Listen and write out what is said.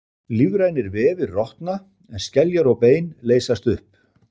Lífrænir vefir rotna en skeljar og bein leysast upp.